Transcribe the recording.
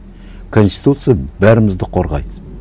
конституция бәрімізді қорғайды